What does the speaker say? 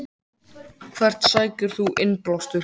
Hvert sækir þú innblástur?